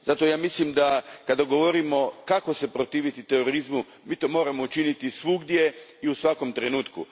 Zato mislim da, kada govorimo kako se protiviti terorizmu, mi to moramo učiniti svugdje i u svakom trenutku.